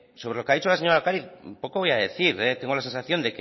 sobre lo que ha dicho la señora de ocariz poco voy a decir tengo la sensación